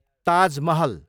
Taj Mahal